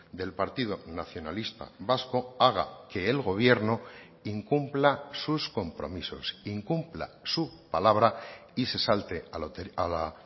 del partido nacionalista vasco haga que el gobierno incumpla sus compromisos incumpla su palabra y se salte a la